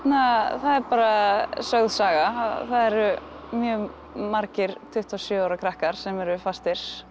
það er bara sögð saga að það eru mjög margir tuttugu og sjö ára krakkar sem eru fastir